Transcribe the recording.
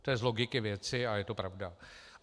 To je z logiky věci a je to pravda.